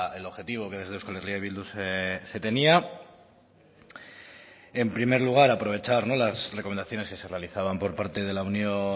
el objetivo que desde euskal herria bildu se tenía en primer lugar aprovechar las recomendaciones que se realizaban por parte de la unión